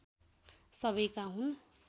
सबैका हुन्